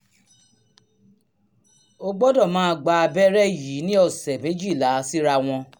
ó gbọ́dọ̀ máa gba abẹ́rẹ́ yìí ní ọ̀sẹ̀ méjìlá síra wọn